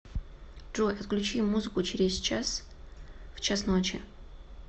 джой отключи музыку через час в час ночи